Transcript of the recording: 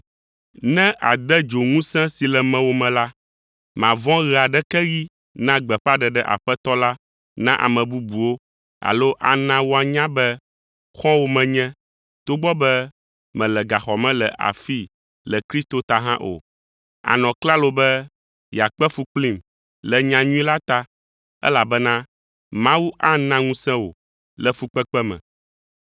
Ne àde dzo ŋusẽ si le mewò me la, màvɔ̃ ɣe aɖeke ɣi na gbeƒãɖeɖe Aƒetɔ la na ame bubuwo alo ana woanya be xɔ̃wò menye, togbɔ be mele gaxɔ me le afii le Kristo ta hã o. Ànɔ klalo be yeakpe fu kplim le nyanyui la ta, elabena Mawu ana ŋusẽ wò le fukpekpe me.